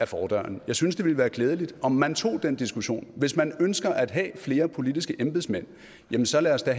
fordøren jeg synes det ville være klædeligt om man tog den diskussion hvis man ønsker at have flere politiske embedsmænd jamen så lad os da